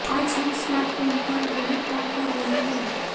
आज हम smart phone पर यही काम कर रहे हैं